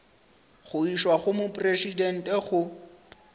go išwa go mopresidente go